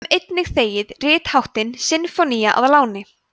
við höfum einnig þegið ritháttinn sinfónía að láni